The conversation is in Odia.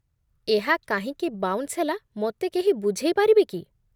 ଏହା କାହିଁକି ବାଉନ୍ସ ହେଲା ମୋତେ କେହି ବୁଝେଇପାରିବେ କି?